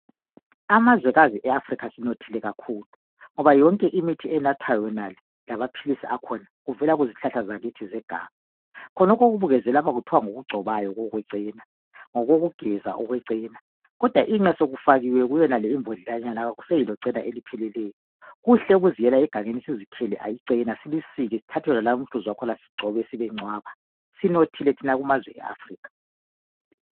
Amazwekazi eAfrica sinothile kakhulu, ngoba yonke imithi enathwayo yonale lamaphilisi akhona kuvela kuzihlahla zakithi zeganga. Khonokhu okubukezwe lapha kuthwa ngokugcotshwayo okwecena, ngokokugeza okwecena kodwa inqa sokufakiwe kuyonale imbodlelanyana kakuseyilo cena elipheleleyo. Kuhle ukuziyela egangeni sizikhele icena silisike sithathe wonalowu umhluzi wakhona sigcobe sibencwaba, sinothile thina kumazwekazi eAfrica.